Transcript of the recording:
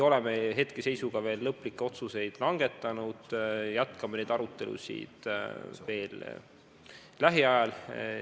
Me ei ole veel lõplikke otsuseid langetanud, jätkame neid arutelusid lähiajal.